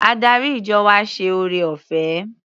Adarí ìjọ wa ṣe ore-ọ̀fẹ́.